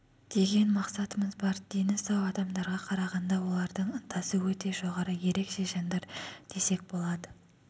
деген мақсатымыз бар дені сау адамдарға қарағанда олардың ынтасы өте жоғары ерекше жандар десек болады